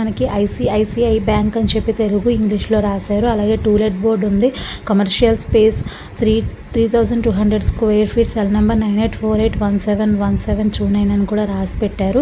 మనకి ICICI bank అనీ చెప్పి తెలుగు ఇంగ్లీషు లో రాశారు. అలాగే టూలేట్ బోర్డు ఉంది. Commercial space three thousand two hundred square feet cell number nine eight four eight one seven one seven two nine రాసి పెట్టారు.